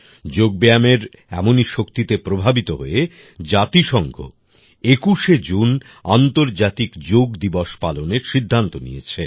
যোগ ব্যায়ামের এমনি শক্তিতে প্রভাবিত হয়ে জাতিসংঘ ২১শে জুন আন্তর্জাতিক যোগ দিবস পালনের সিদ্ধান্ত নিয়েছে